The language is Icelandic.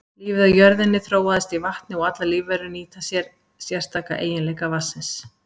Lífið á jörðinni þróaðist í vatni og allar lífverur nýta sér sérstaka eiginleika vatnsins.